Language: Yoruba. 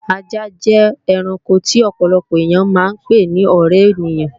Ajá jẹ́ ẹranko tí ọ̀pọ̀lọpọ̀ èyàn máa ń pè ni ọ̀ré ènìyàn